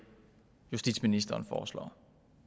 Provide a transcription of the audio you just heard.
justitsministeren foreslår